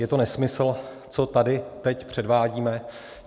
Je to nesmysl, co tady teď předvádíme.